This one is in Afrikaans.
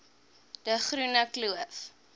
de groene kloof